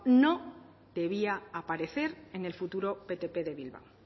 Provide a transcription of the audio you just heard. no debía aparecer en el futuro ptp de bilbao